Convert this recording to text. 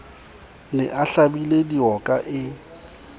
ne a hlabile dioka e